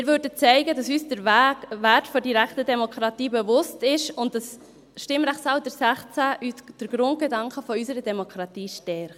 Wir würden zeigen, dass uns der Wert der direkten Demokratie bewusst ist und das Stimmrechtsalter 16 den Grundgedanken unserer Demokratie stärkt.